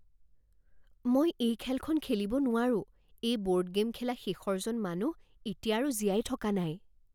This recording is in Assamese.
মই এই খেলখন খেলিব নোৱাৰোঁ। এই ব'ৰ্ড গে'ম খেলা শেষৰজন মানুহ এতিয়া আৰু জীয়াই থকা নাই।